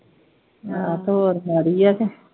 ਆਹ ਤੇ ਹੋਰ ਮਾੜੀ ਆ ਕਿ।